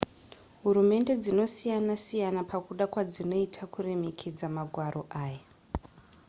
hurumende dzinosiyana-siyana pakuda kwadzinoita kuremekedza magwaro aya